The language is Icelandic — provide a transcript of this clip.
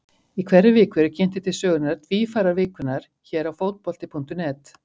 Í hverri viku eru kynntir til sögunnar Tvífarar vikunnar hér á Fótbolti.net.